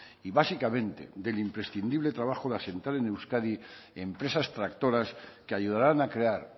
y básicamente del imprescindible trabajo de asentar en euskadi empresas tractoras que ayudarán a crear